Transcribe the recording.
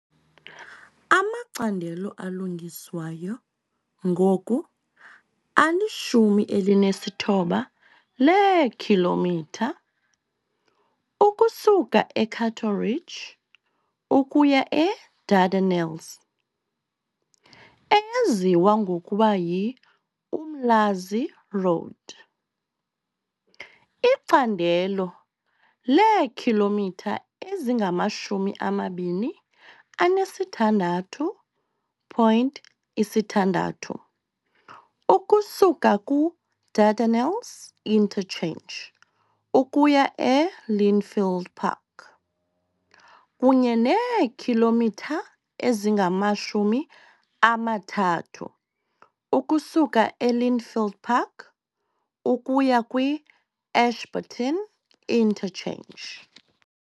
Amacandelo alungiswayo ngoku ali-19 leekhilomitha ukusuka e-Cato Ridge ukuya e-Dardanelles, eyaziwa ngokuba yi-Umlaas Road, icandelo leekhilomitha ezingama-26.6 ukusuka ku-Dardanelles Interchange ukuya e-Lynnfield Park, kunye neekhilomitha ezingama-30 ukusuka e-Lynnfield Park ukuya kwi-Ashburton Interchange.